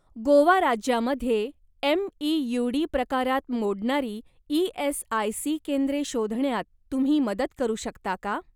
गोवा राज्यामध्ये एमईयूडी प्रकारात मोडणारी ई.एस.आय.सी. केंद्रे शोधण्यात तुम्ही मदत करू शकता का?